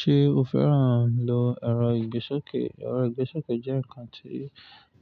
Ṣé o fẹ́ràn lọ ẹro Ìgbésókè? Ẹro Ìgbésókè jẹ́ ǹkan tí